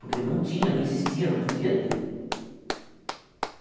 Porque não tinha, não existia, não podia ter.